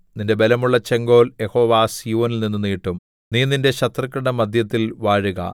നിന്റെ ബലമുള്ള ചെങ്കോൽ യഹോവ സീയോനിൽനിന്നു നീട്ടും നീ നിന്റെ ശത്രുക്കളുടെ മദ്ധ്യത്തിൽ വാഴുക